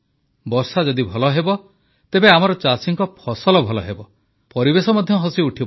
ବର୍ଷା ଯଦି ଭଲ ହେବ ତେବେ ଆମର ଚାଷୀଙ୍କ ଫସଲ ଭଲ ହେବ ପରିବେଶ ମଧ୍ୟ ହସିଉଠିବ